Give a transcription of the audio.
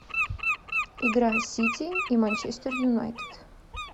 игра сити и манчестер юнайтед